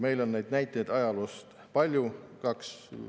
Meil on ajaloost selle kohta palju näiteid.